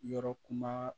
Yɔrɔ kuma